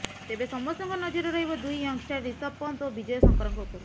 ତେବେ ସମସ୍ତଙ୍କ ନଜର ରହିବ ଦୁଇ ୟଙ୍ଗଷ୍ଟାର ରିଷଭ ପନ୍ତ ଓ ବିଜୟ ଶଙ୍କରଙ୍କ ଉପରେ